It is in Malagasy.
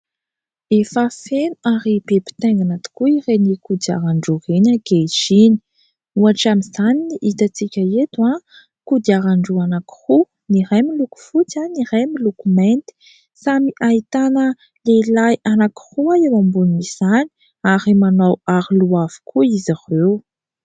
Efa feno ary be pitaingina tokoa ireny kodiaran-droo ireny ankehitriny, ohatra amin'izany ny hitantsika eto : kodiaran-droa anankiroa, ny iray miloko fotsy ary ny iray miloko mainty. Samy ahitana lehilahy anankiroa eo ambonin' izany ary manao aro loha avy koa izy ireo.